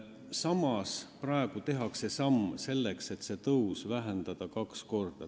Samas tehakse praegu samm selleks, et vähendada seda tõusu kaks korda.